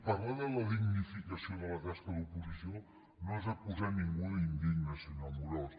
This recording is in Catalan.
parlar de la dignificació de la tasca d’oposició no és acusar ningú d’indigne senyor amorós